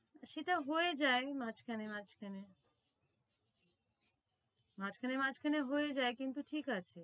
সেটা হয়ে যায় মাঝখানে মাঝখানে মাঝখানে মাঝখানে হয়ে যায় কিন্তু ঠিক আছে